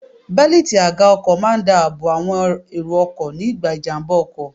Bélítì àga ọkọ̀ máa ń dá àbọ̀ àwọn èrò ọkọ̀ ní ìgbà ìjàmbá ọkọ̀.